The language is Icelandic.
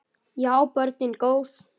Já, börnin góð.